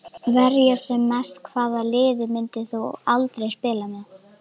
Verja sem mest Hvaða liði myndir þú aldrei spila með?